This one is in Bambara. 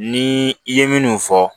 Ni i ye minnu fɔ